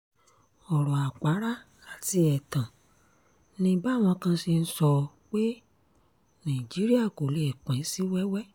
ọ̀rọ̀ àpárá àti ẹ̀tàn ni báwọn kan ṣe ń sọ pé nàìjíríà kò lè pín sí wẹ́wẹ́